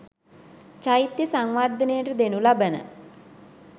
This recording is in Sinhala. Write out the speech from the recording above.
චෛත්‍යය සංවර්ධනයට දෙනු ලබන